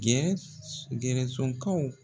.